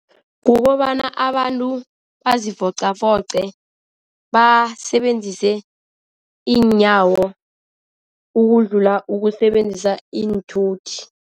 Kukobana abantu bazivoqavoqe basebenzise iinyawo ukudlula ukusebenzisa iinthuthi.